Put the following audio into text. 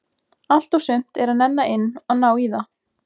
Allt og sumt er að nenna inn að ná í það.